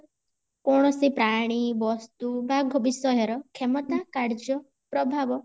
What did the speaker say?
କୌଣସି ପ୍ରାଣୀ ବସ୍ତୁ ବା ବିଷୟ ର କ୍ଷମତା କାର୍ଯ୍ୟ ପ୍ରଭାବ